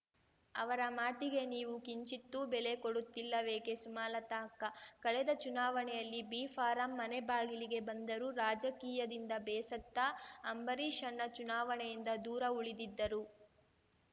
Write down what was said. ಅವರ ಮಾತಿಗೆ ನೀವು ಕಿಂಚಿತ್ತೂ ಬೆಲೆ ಕೊಡುತ್ತಿಲ್ಲವೇಕೆ ಸುಮಲತಾ ಅಕ್ಕ ಕಳೆದ ಚುನಾವಣೆಯಲ್ಲಿ ಬಿಫಾರಂ ಮನೆ ಬಾಗಿಲಿಗೆ ಬಂದರೂ ರಾಜಕೀಯದಿಂದ ಬೇಸತ್ತ ಅಂಬರೀಷಣ್ಣ ಚುನಾವಣೆಯಿಂದ ದೂರ ಉಳಿದಿದ್ದರು